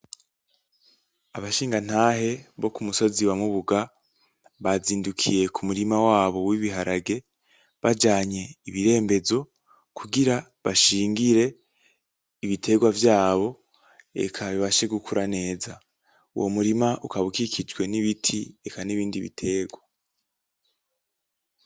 Abashingatahe bo kukutumba wamubuga bazindukiye kumurima wabo wibiharage bajanye ibirembezo kugira bashingire ibiterwa vyabo, eka bibashe gukira neza. Uwo murima ukaba ukikijwe nibiti hamwe nibindi biterwa.